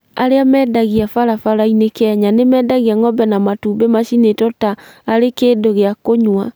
Arĩa mendagia barabara-inĩ Kenya nĩ mendagia ng'ombe na matumbĩ macinĩtwo ta arĩ kĩndũ gĩa kũnyua.